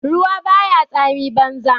Ruwa ba ya tsami banza.